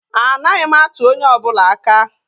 Anaghị m atụ onye ọ bụla aka